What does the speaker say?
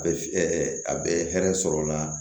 A bɛ a bɛ hɛrɛ sɔrɔ o la